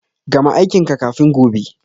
Gama aikin ka kafin gobe.